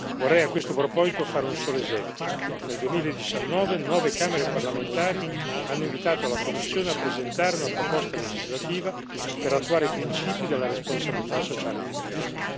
Vorrei a questo proposito fare un solo esempio nel 2019 nove camere parlamentari hanno invitato la Commissione a presentare una proposta legislativa per attuare i principi della responsabilità sociale delle imprese.